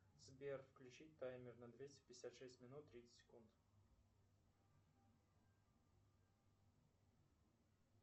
сбер включить таймер на двести пятьдесят шесть минут тридцать секунд